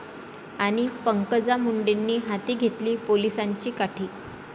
...आणि पंकजा मुंडेंनी हाती घेतली पोलिसांची काठी